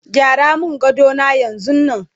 gyara min gadona yanzun Nan!